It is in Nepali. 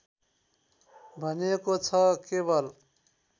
भनिएको छ केवल